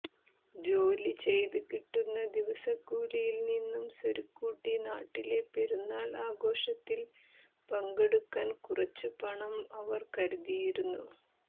ജോലി ചെയ്ത് കിട്ടുന്ന ദിവസക്കൂലിയിൽ നിന്നും സ്വരുക്കൂട്ടി നാട്ടിലെ പെരുന്നാൾ ആഘോഷത്തിൽ പങ്കെടുക്കാൻ കുറച്ചു പണം അവർ കരുതിയിരുന്നു